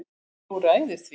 Þú ræður því.